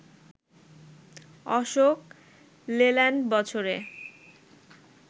আশোক লেল্যান্ড বছরে